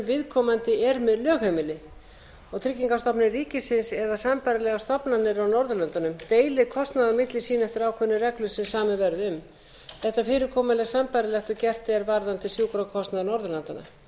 viðkomandi er með lögheimili tryggingastofnun ríkisins eða sambærilegar stofnanir á norðurlöndunum deili kostnaði á milli sín eftir ákveðnum reglum sem samið verði um þetta fyrirkomulag er sambærilegt og gert er varðandi sjúkrakostnað norðurlandanna í